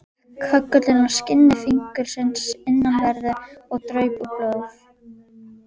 Hékk köggullinn á skinni fingursins innanverðu, og draup úr blóð.